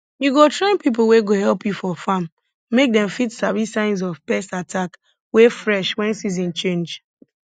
you go train people wey go help you for farm make dem fit sabi signs of pest attack wey fresh wen season change